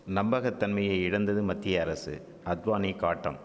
நம்பக தன்மையை இழந்தது மத்திய அரசு அத்வானி காட்டம்